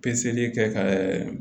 Peseli kɛ ka